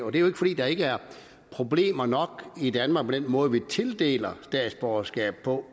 er jo ikke fordi der ikke er problemer nok i danmark med den måde vi i tildeler statsborgerskab på